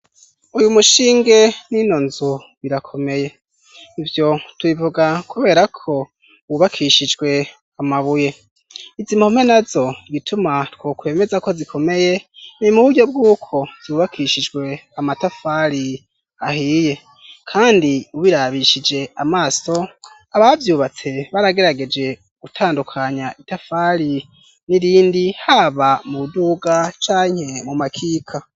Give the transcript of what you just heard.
uyu mushinge n'inonzu birakomeye ibyo tubivuga kubera ko bubakishijwe amabuye izimpume nazo gituma two kwemeza ko zikomeye ni muburyo bw'uko zubakishijwe amatafari ahiye kandi ubirabishije amaso ababyubatse baragerageje gutandukanya itafali n'irindi haba mu duga canke mu makika